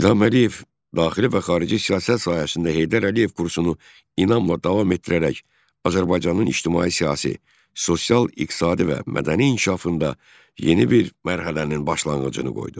İlham Əliyev daxili və xarici siyasət sahəsində Heydər Əliyev kursunu inamla davam etdirərək Azərbaycanın ictimai-siyasi, sosial-iqtisadi və mədəni inkişafında yeni bir mərhələnin başlanğıcını qoydu.